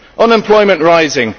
unemployment rising